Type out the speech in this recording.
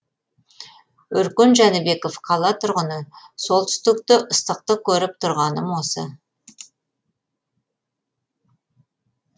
өркен жәнібеков қала тұрғыны солтүстікте ыстықты көріп тұрғаным осы